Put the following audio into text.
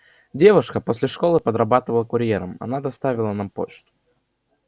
девушка после школы подрабатывала курьером она доставила нам почту